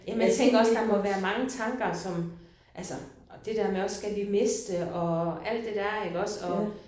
Men jeg tænker også der må være mange tanker som altså og det der også med skal vi miste og alt det der iggås og